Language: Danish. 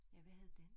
Ja hvad hed den